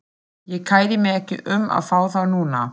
Ég kæri mig ekki um að fá þá núna.